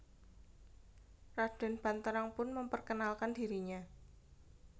Raden Banterang pun memperkenalkan dirinya